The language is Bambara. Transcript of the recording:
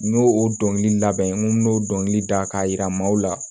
N y'o o dɔnkilida n ko n'o dɔnkili da k'a yira maaw la